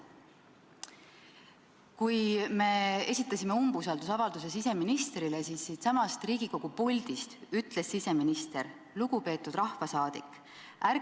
Kui me esitasime siseministrile umbusaldusavalduse, siis ütles siseminister siitsamast Riigikogu puldist: "Lugupeetud rahvasaadik!